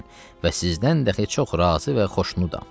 Və sizdən də heç-ox razı və xoşnudam.